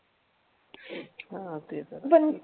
हा ते तर आहेच